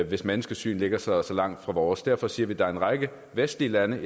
hvis menneskesyn ligger så så langt fra vores derfor siger vi at der er en række vestlige lande